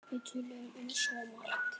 Við töluðum um svo margt.